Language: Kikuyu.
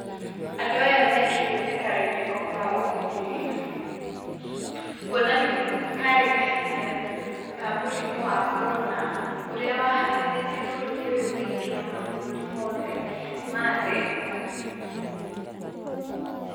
Andũ aya mekĩrĩte karembeko ka ũgitĩri, kuonania nĩ karĩ kahinda ka mũrimũ wa korona, ũria wahahithĩtie bũruri ũyũ witũ na mabũruri mothe ma thĩ.